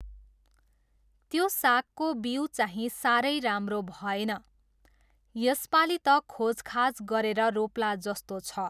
त्यो सागको बिउ चाहिँ साह्रै राम्रो भएन। यसपालि त खोजखाज गरेर रोप्ला जस्तो छ।